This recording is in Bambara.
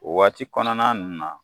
O waati kɔnɔna ninnu na